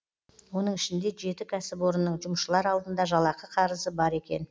оның ішінде жеті кәсіпорынның жұмысшылар алдында жалақы қарызы бар екен